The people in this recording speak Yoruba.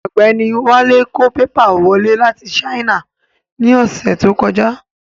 Ọ̀gbẹ́ni Wálé kó pépà wọlé láti Sáínà ní ọ̀sẹ̀ tó kọjá